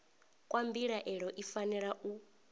kwa mbilaelo i fanela u